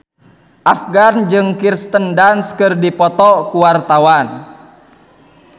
Afgan jeung Kirsten Dunst keur dipoto ku wartawan